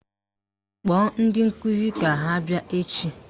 Kpọọ ndi nkụzi ka ha bịa echi!